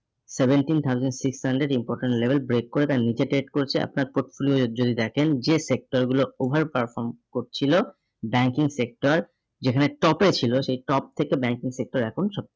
seventeen thousand six hundred important level break করে তার নিচে trade করছে আপনার portfolio যদি দেখেন যে sector গুলো over perform করছিল banking sector যেখানে top এ ছিল সেই top থেকে banking sector এখন সব